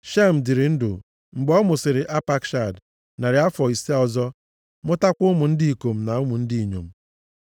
Shem dịrị ndụ, mgbe ọ mụsịrị Apakshad, narị afọ ise ọzọ, mụtakwa ụmụ ndị ikom na ụmụ ndị inyom.